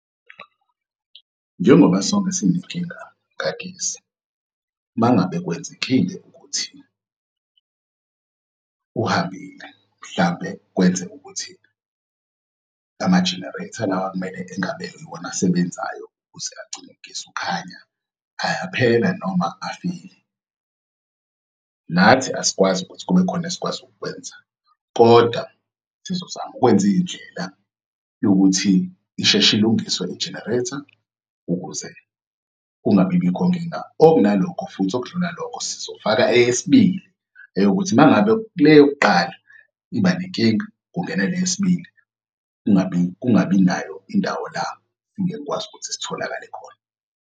Njengoba sonke sinenkinga kagesi, mangabe kwenzekile ukuthi uhambile mhlampe kwenzeke ukuthi ama-generator lawa kumele engabe iwona asebenzayo ukuze agcine ugesi ukhanya ayaphela noma afile. Nathi asikwazi ukuthi kubekhona esikwazi ukukwenza kodwa sizozama ukwenza iy'ndlela yokuthi ishesh'lungiswe i-generator ukuze kungabibikho nkinga. Okunalokho futhi okudlula lokho sizofaka eyesibili eyokuthi mangabe kuleyokuqala iba nenkinga kungena leyesibili, kungabi nayo indawo la singeke sikwazi ukuthi sitholakale khona.